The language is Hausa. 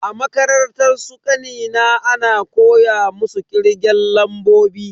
A makarantar su kanina ana koya musu kirgen lambobi.